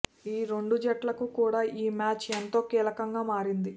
ఈ రెండు జట్లకు కూడా ఈ మ్యాచ్ ఎంతో కీలకంగా మారింది